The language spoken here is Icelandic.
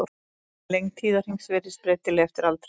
Lengd tíðahrings virðist breytileg eftir aldri.